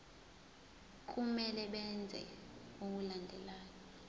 kumele benze okulandelayo